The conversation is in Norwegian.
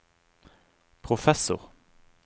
professor